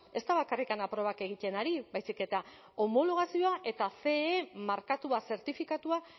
ez da bakarrik probak egiten ari baizik eta homologazioa eta ce markatua zertifikatua